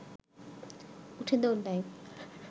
উঠে দৌড় দেয়